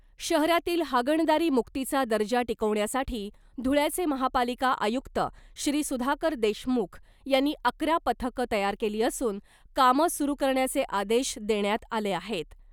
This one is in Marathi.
शहरातील हागणदारी मुक्तीचा दर्जा टिकवण्यासाठी धुळयाचे महापालिका आयुक्त श्री सुधाकर देशमुख यांनी अकरा पथकं तयार केली असून कामं सुरू करण्याचे आदेश देण्यात आले आहेत .